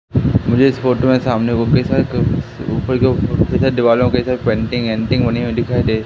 मुझे इस फोटो में सामने को कैसा एक ऊपर के दीवालों के साथ पेंटिंग एंटिंग बनी हुई दिखाई दे--